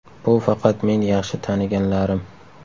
Bu faqat men yaxshi taniganlarim.